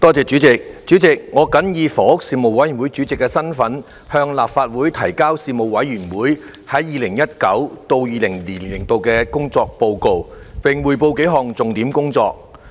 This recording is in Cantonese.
主席，我謹以房屋事務委員會主席的身份，向立法會提交事務委員會 2019-2020 年度的工作報告，並匯報數項重點工作。